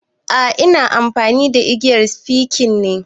A ina amfani da igiyar sikifin ne